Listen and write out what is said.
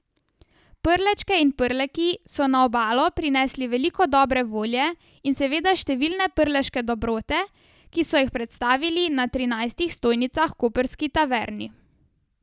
Prlečke in Prleki so na Obalo prinesli veliko dobre volje in seveda številne prleške dobrote, ki so jih predstavili na trinajstih stojnicah v koprski Taverni.